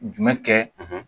Jumɛn kɛ